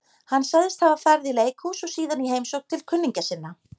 Hann sagðist hafa farið í leikhús og síðan í heimsókn til kunningja sinna.